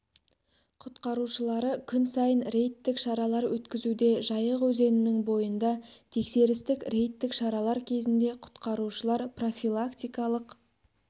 құтқарушылары күн сайын рейдтік шаралар өткізуде жайық өзенінің бойында тексерістік рейдтік шаралар кезінде құтқарушылар профилактикалық